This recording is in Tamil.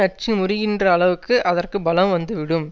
அச்சு முறிகின்ற அளவுக்கு அதற்கு பலம் வந்து விடும்